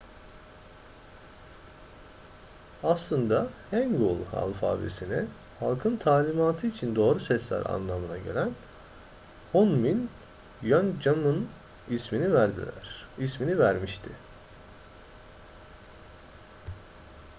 aslında hangeul alfabesine halkın talimatı için doğru sesler anlamına gelen hunmin jeongeum ismini vermişti